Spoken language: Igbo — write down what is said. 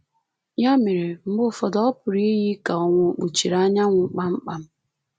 Ya mere, mgbe ụfọdụ, ọ pụrụ iyi ka ọnwa ò kpuchiri anyanwụ kpamkpam